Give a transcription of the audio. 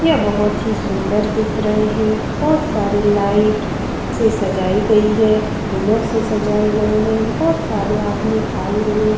यह बहुत ही सुंदर दिख रहे हैं बहुत सारे लाइट से सजाये गई है फूलो से सजाये गए हैं बहुत सारे आदमी आये हुए --